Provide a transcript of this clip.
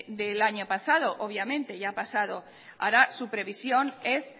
del año pasado obviamente ya ha pasado ahora su previsión es